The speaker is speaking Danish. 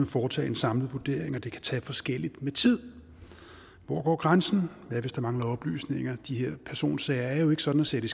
foretage en samlet vurdering og at det kan tage forskelligt med tid hvor går grænsen hvad hvis der mangler oplysninger de her personsager er jo ikke sådan at sætte